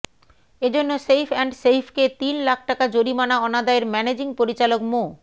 এজন্য safe and সেইভকে তিন লাখ টাকা জরিমানা অনাদায়ের ম্যানেজিং পরিচালক মো